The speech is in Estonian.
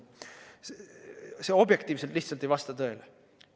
See objektiivselt lihtsalt ei vasta tõele.